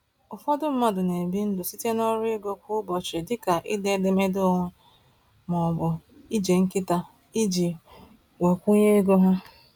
Ụfọdụ mmadụ na-ebi ndụ site n’ọrụ ego kwa ụbọchị dịka ide edemede onwe ma ọ bụ ije nkịta iji gbakwunye ego ha.